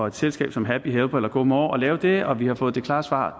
et selskab som happy helper eller go more skal lave det og vi har fået det klare svar